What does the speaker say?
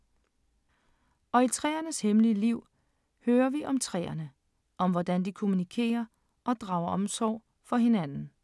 Og i træernes hemmelige liv hører vi om træerne, om hvordan de kommunikerer og drager omsorg for hinanden.